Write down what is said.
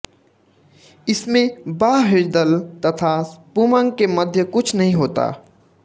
इसमें बाह्यदल तथा पुमंग के मध्य कुछ नहीं होता